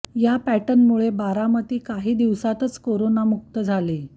या पॅटर्नमुळे बारामती काही दिवसातच करोना मुक्त झाली